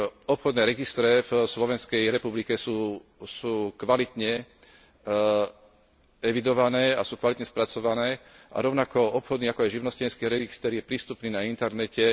Obchodné registre v Slovenskej republike sú kvalitne evidované a sú kvalitne spracované a rovnako obchodný, ako aj živnostenský register je prístupný na internete.